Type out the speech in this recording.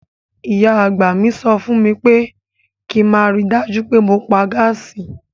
Ìyá àgbà mi sọ fún mi pé kí n máa rí i dájú pé mo pa gáàsì.